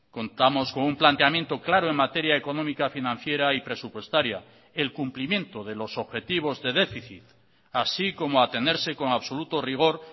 contamos con un planteamiento claro en materia económica financiera y presupuestaria el cumplimiento de los objetivos de déficit así como a tenerse con absoluto rigor